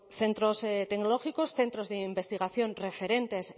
centros tecnológicos centros de investigación referentes